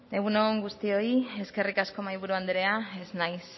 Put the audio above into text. egun on guztioi eskerrik asko mahaiburu andrea ez naiz